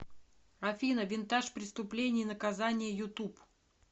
афина винтаж преступление и наказание ютуб